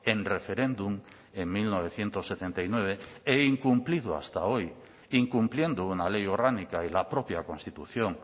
en referéndum en mil novecientos setenta y nueve e incumplido hasta hoy incumpliendo una ley orgánica y la propia constitución